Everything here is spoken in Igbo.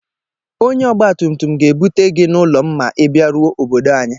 Onye ọgbatumtum ga-ebute gị n'ụlọ m ma Ị bịaruo obodo anyị.